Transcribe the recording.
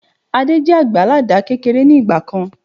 Adé jẹ àgbẹ̀ àládà kékeré ni ìgbàkan